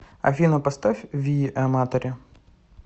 афина поставь вии аматори